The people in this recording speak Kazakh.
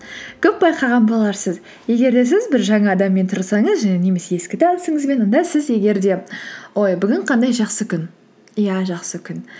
көп байқаған боларсыз егер де сіз бір жаңа адаммен тұрсаңыз және немесе ескі танысыңызбен онда сіз егер де ой бүгін қандай жақсы күн иә жақсы күн